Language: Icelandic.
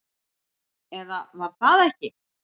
Eða var það ekki?